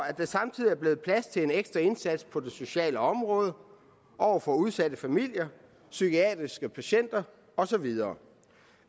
at der samtidig er blevet plads til en ekstra indsats på socialområdet over for udsatte familier psykiatriske patienter og så videre